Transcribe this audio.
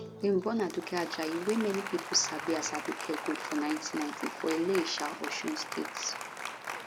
dem born aduke ajayi wey many pipo sabi as aduke gold for 1990 for ilesha osun state